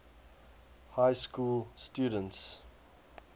high school students